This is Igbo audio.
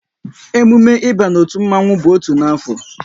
Emume ịba n'otu mmanwu bụ otu n'afọ